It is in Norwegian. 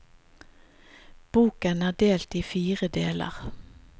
Boken er delt i fire deler.